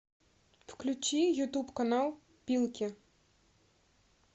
включи ютуб канал пилки